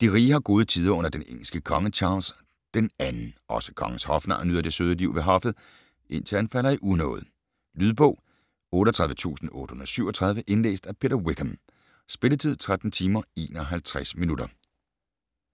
De rige har gode tider under den engelske konge Charles II. Også kongens hofnar nyder det søde liv ved hoffet, indtil han falder i unåde. Lydbog 38837 Indlæst af Peter Wickham. Spilletid: 13 timer, 51 minutter.